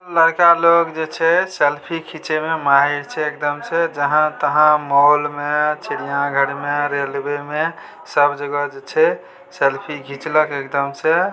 लड़का लोग जे छै सेल्फी खींचे में माहिर छे एकदम से जहाँ-तहाँ मॉल में चिड़िया घर में रेलवे में सब जगह छै सेल्फी खींचलक एकदम से --